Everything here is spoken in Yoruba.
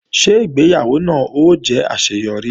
Ṣé ìgbéyàwó náà ó jẹ́ àṣeyọrí